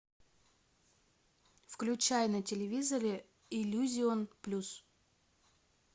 включай на телевизоре иллюзион плюс